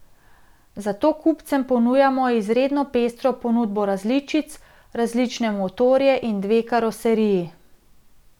Zato kupcem ponujamo izredno pestro ponudbo različic, različne motorje in dve karoseriji.